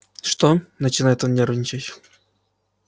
что начинает он нервничать